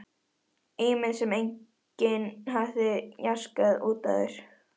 Ímynd sem enginn hafði jaskað út áður.